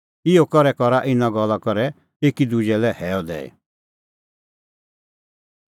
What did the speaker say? इहअ करै करा इना गल्ला करै एकी दुजै लै हैअ दैई